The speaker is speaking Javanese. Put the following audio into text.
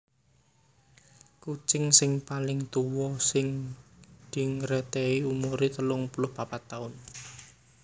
Kucing sing paling tuwa sing dingertèi umuré telung puluh papat taun